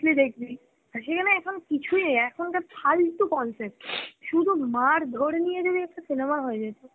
দেখবি, আর সেখানে এখন কিছুই নেই, এখন কার ফালতু concept, সুধু মারধর নিয়ে যদি একটা cinema হয়ে যেত